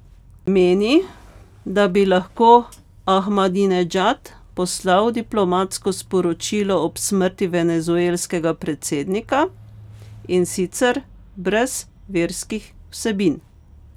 Meni, da bi lahko Ahmadinedžad poslal diplomatsko sporočilo ob smrti venezuelskega predsednika, in sicer brez verskih vsebin.